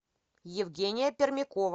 евгения пермякова